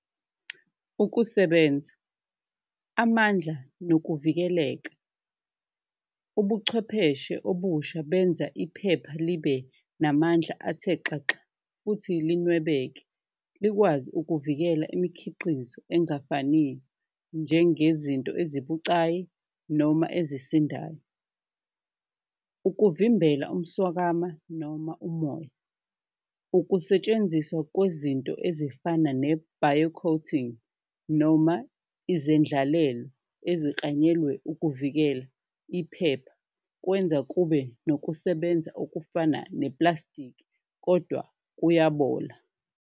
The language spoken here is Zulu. Ukusebenza, amandla nokuvikeleka ubuchwepheshe obusha benza iphepha libe namandla athe xaxa futhi linwebeke likwazi ukuvikela imikhiqizo engafaniyo njengezinto ezibucayi noma ezisindayo, ukuvimbela umswakamo noma umoya. Ukusetshenziswa kwezinto ezifana ne-bio-coating noma ezendlalele eziklanyelwe ukuvikela iphepha, kwenza kube nokusebenza okufana neplastikhi kodwa kuyabola.